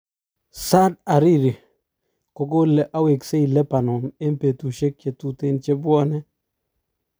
Saad Hariri kokole awesei Labanon en petushek chetuten chepwanen